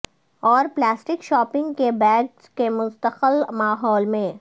اور plastic shopping کے bag کے مستقل ماحول میں